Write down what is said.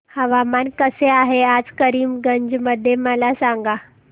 हवामान कसे आहे आज करीमगंज मध्ये मला सांगा